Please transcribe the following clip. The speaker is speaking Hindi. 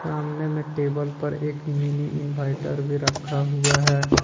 सामने में टेबल पर एक मिनी इन्विटर भी रखा हुआ है।